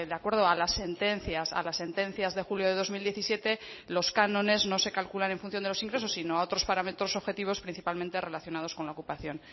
acuerdo a las sentencias a las sentencias de julio de dos mil diecisiete los cánones no se calculan en función de los ingresos sino a otros parámetros objetivos principalmente relacionados con la ocupación